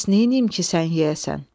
Bəs neyniyim ki, sən yeyəsən?